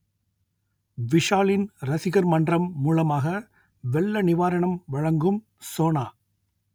விஷாலின் ரசிகர் மன்றம் மூலமாக வெள்ள நிவாரணம் வழங்கும் சோனா